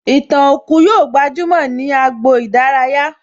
Ìtàn òkú yóò gbajúmò ní agbo ìdárayá